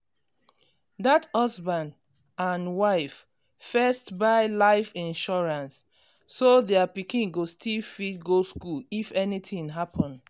that husband and wife first buy life insurance so their pikin go still fit go school if anything happen.